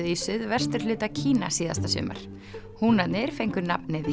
í suðvesturhluta Kína síðasta sumar húnarnir fengu nafnið